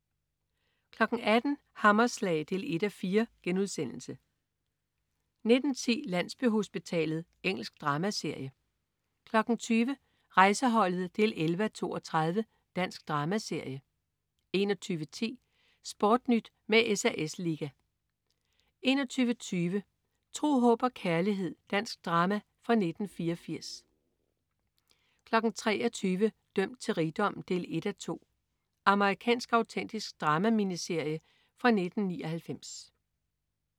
18.00 Hammerslag 1:4* 19.10 Landsbyhospitalet. Engelsk dramaserie 20.00 Rejseholdet 11:32. Dansk dramaserie 21.10 SportNyt med SAS Liga 21.20 Tro, håb og kærlighed. Dansk drama fra 1984 23.00 Dømt til rigdom 1:2. Amerikansk autentisk drama-miniserie fra 1999